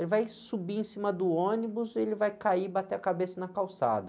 Ele vai subir em cima do ônibus e ele vai cair e bater a cabeça na calçada.